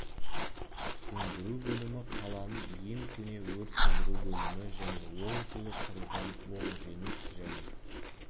сөндіру бөлімі қаланың ең көне өрт сөндіру бөлімі және ол жылы құрылған ол жеңіс және